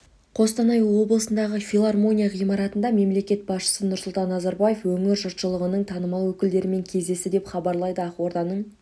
қостанай облысындағы филармония ғимаратында мемлекет басшысы нұрсұлтан назарбаев өңір жұртшылығының танымал өкілдерімен кездесті деп хабарлайды ақорданың